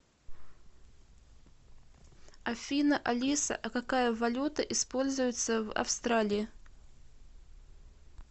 афина алиса а какая валюта используется в австралии